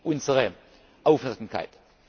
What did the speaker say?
unsere Aufmerksamkeit.